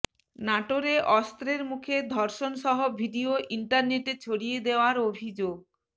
নাটোরে অস্ত্রের মুখে ধর্ষণসহ ভিডিও ইন্টারনেটে ছড়িয়ে দেওয়ার অভিযোগ